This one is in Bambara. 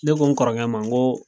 Ne ko n kɔrɔkɛ ma nko